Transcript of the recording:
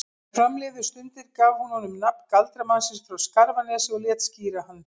Þegar fram liðu stundir gaf hún honum nafn galdramannsins frá Skarfanesi og lét skíra hann